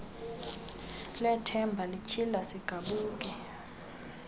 lethemba lityhile sigabuke